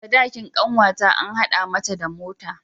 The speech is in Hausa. Sadakin kanwata an hada mata da mota.